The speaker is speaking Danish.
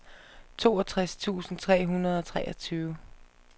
treogtres tusind tre hundrede og treogtyve